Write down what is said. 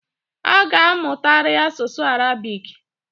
ị ga-amụtari asụsụ Arabic!